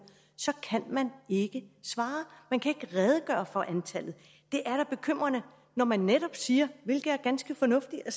så kan man ikke svare man kan ikke redegøre for antallet det er da bekymrende når man netop siger hvilket er ganske fornuftigt at